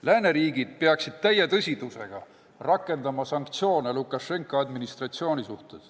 Lääneriigid peaksid täie tõsidusega rakendama sanktsioone Lukašenka administratsiooni vastu.